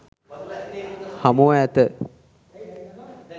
හමුව ඇත.